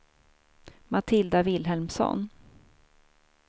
Matilda Vilhelmsson